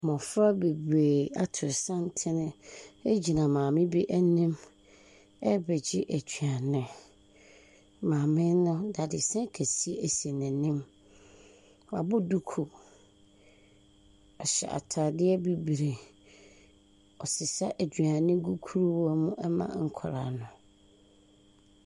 Mmɔfra bebree ato santene gyina maame bi anim rebɛgyɛ aduane. Maame no, dadesɛn kɛseɛ si n'anim. Wabɔ duku. Wahyɛ atadeɛ bibire. Ɔresesa aduane gu kuruwa mu ma nkwadaa no.